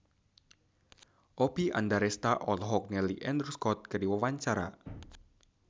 Oppie Andaresta olohok ningali Andrew Scott keur diwawancara